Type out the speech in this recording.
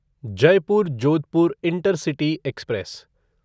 Jaipur Jodhpur intercity express